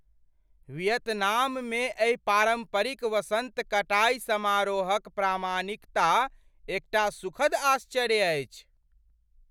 वियतनाममे एहि पारम्परिक वसन्त कटाइ समारोहक प्रामाणिकता एकटा सुखद आश्चर्य अछि।